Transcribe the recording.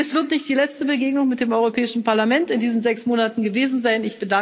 Dies wird nicht die letzte Begegnung mit dem Europäischen Parlament in diesen sechs Monaten gewesen sein.